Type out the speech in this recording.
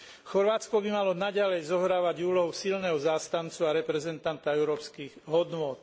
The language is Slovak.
Chorvátsko by malo naďalej zohrávať úlohu silného zástancu a reprezentanta európskych hodnôt.